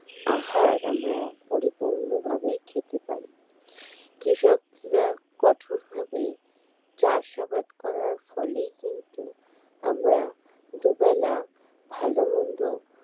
আহার আমরা পরিপূর্ণভাবে খেতে পারি কৃষকরা কঠোরভাবে চাষাবাদ করার ফলেই কিন্তু আমরা দুবেলা ভালো মন্দ